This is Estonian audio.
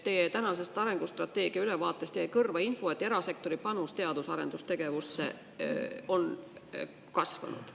Teie tänasest arengustrateegia ülevaatest jäi kõrva info, et erasektori panus teadus- ja arendustegevusse on kasvanud.